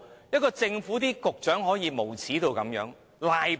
一位政府局長可以如此無耻，如此賴皮。